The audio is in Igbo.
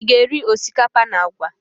Ị ga-eri osikapa na àgwà?